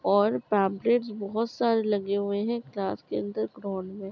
और पम्पलटेस बहोत सारे लगे हुए है क्लास के अंदर ग्राउंड में।